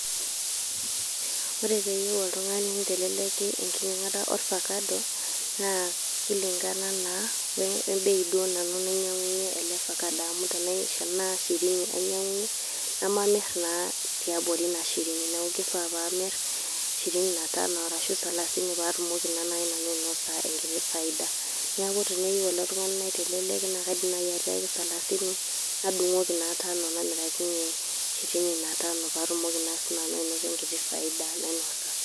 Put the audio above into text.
Ore peyieu oltung'ani niteleleki enkinyang'ata ofakado, naa kilingana naa webei duo nanu nainyang'unye ele fakado. Amu tenaa shirini ainyang'unye, nemamir naa tiabori inashirini. Neeku kifaa paamir shirini na tanu arshu salasini patumoki na nai nanu ainosa enkiti faida. Neeku teneyieu ilo tung'ani naiteleleki, na kaidim nai atiaki salasini, nadung'oki naa tanu namirakinye shirini na tanu patumoki na sinanu ainoto enkiti faida nainosa.